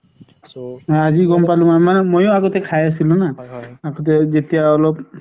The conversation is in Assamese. আজি গম পালো মই কাৰণ মইও আগতে খাই আছিলো ন যেতিয়া অলপ